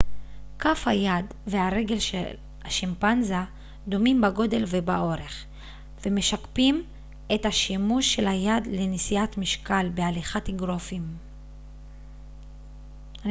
כף היד והרגל של השימפנזה דומים בגודל ובאורך ומשקפים את השימוש של היד לנשיאת משקל בהליכת אגרופים